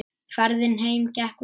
Ferðin heim gekk vel.